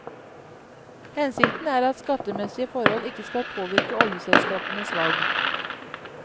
Hensikten er at skattemessige forhold ikke skal påvirke oljeselskapenes valg.